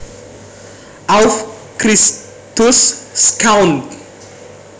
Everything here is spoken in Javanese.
Auf Christus schauen